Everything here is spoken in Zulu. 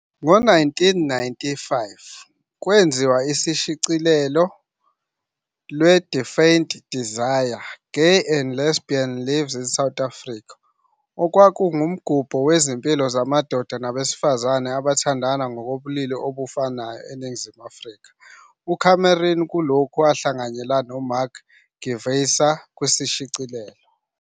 Ngo-1995 kwenziwa ushicilelo lwe-"Defiant Desire- Gay and Lesbian Lives in South Africa", "okwakuwumgubho wezimpilo zamadoda nabesifazana abathandana ngokobulili obofanayo eNingizimu Afrika" uCameron kulokhu wahlanganyela noMark Gevisser kushicilelo.